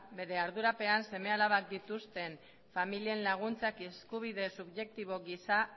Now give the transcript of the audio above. bere ardurapean seme alabak dituzten familien laguntzak eskubide subjektibo gisa